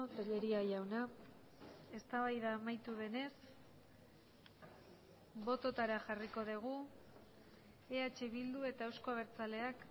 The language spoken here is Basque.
tellería jauna eztabaida amaitu denez bototara jarriko dugu eh bildu eta eusko abertzaleak